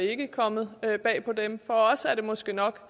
ikke er kommet bag på men for os har det måske nok